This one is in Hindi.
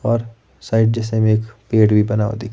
और साइड जैसे में एक पेड़ भी बना दी--